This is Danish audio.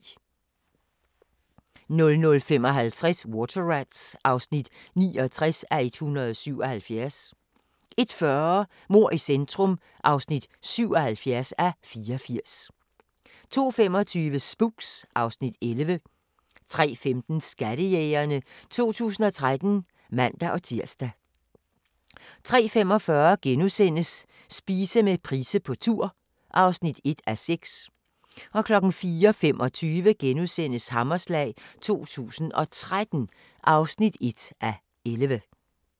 00:55: Water Rats (69:177) 01:40: Mord i centrum (77:84) 02:25: Spooks (Afs. 11) 03:15: Skattejægerne 2013 (man-tir) 03:45: Spise med Price på tur (1:6)* 04:25: Hammerslag 2013 (1:11)*